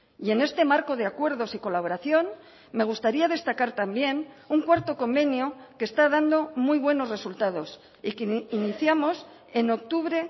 y en este marco de acuerdos y colaboración me gustaría destacar también un cuarto convenio que está dando muy buenos resultados y que iniciamos en octubre